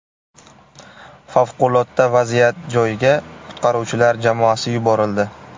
Favqulodda vaziyat joyiga qutqaruvchilar jamoasi yuborildi.